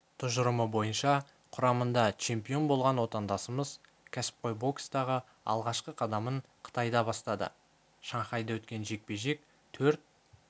тұжырымы бойынша құрамында чемпион болған отандасымыз кәсіпқой бокстағы алғашқы қадамын қытайда бастады шанхайда өткен жекпе-жек төрт